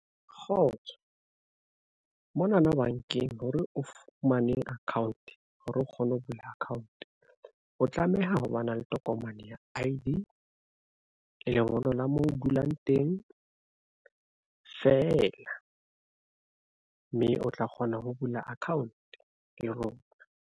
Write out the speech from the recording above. Kgotso mona na bankeng hore o fumane account hore o kgone ho bula account, o tlameha ho ba na le tokomane ya I_D lengolo la moo o dulang teng feela mme o tla kgona ho bula account le rona.